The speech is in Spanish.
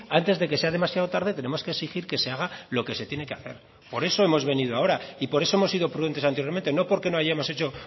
antes de que sea demasiado tarde tenemos que exigir que se haga lo que se tiene que hacer por eso hemos venido ahora y por eso hemos sido prudentes anteriormente no porque no hayamos hecho